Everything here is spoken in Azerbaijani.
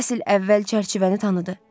Basil əvvəl çərçivəni tanıdı.